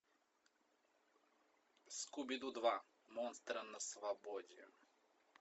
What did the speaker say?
скуби ду два монстры на свободе